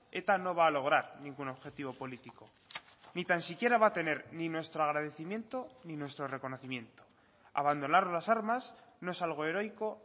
eta no va a lograr ningún objetivo político ni tan siquiera va a tener ni nuestro agradecimiento ni nuestro reconocimiento abandonar las armas no es algo heroico